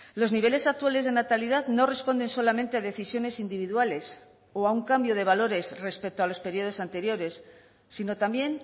los niveles actuales de natalidad no responden solamente decisiones individuales o a un cambio de valores respecto a los periodos anteriores sino también